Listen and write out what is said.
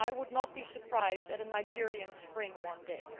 I would not be surprised at a Nigerian Spring one day.